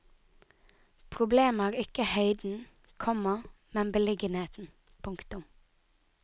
Problemet er ikke høyden, komma men beliggenheten. punktum